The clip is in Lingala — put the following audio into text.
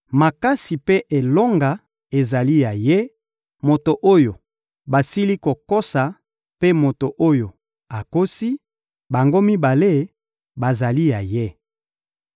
Makasi mpe elonga ezali ya Ye; moto oyo basili kokosa mpe moto oyo akosi, bango mibale bazali ya Ye.